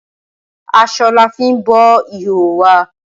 Asọ lafín bo ìhòòhò wa.